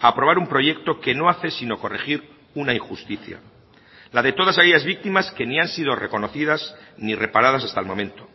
a aprobar un proyecto que no hace sino corregir una injusticia la de todas aquellas víctimas que ni han sido reconocidas ni reparadas hasta el momento